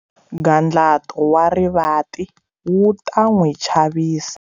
Nghantlato wa rivati wu ta n'wi chavisa